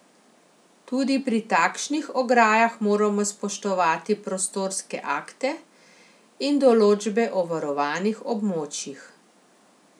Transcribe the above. Tudi pri takšnih ograjah moramo spoštovati prostorske akte in določbe o varovanih območjih.